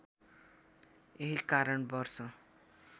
यही कारण वर्ष